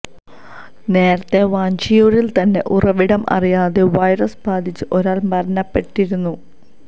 നേരത്തെ വഞ്ചിയൂരിൽ തന്നെ ഉറവിടം അറിയാതെ വൈറസ് ബാധിച്ച് ഒരാൾ മരണപ്പെട്ടിരുന്നു